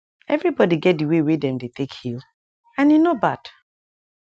everi bodi get d way wey dem dey take heal and e no bad